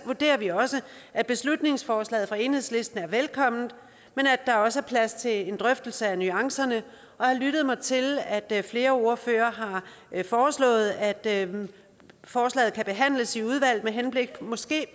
vurderer vi også at beslutningsforslaget fra enhedslisten er velkomment men at der også er plads til en drøftelse af nuancerne jeg lyttede mig til at flere ordførere har foreslået at at forslaget kan behandles i udvalget med henblik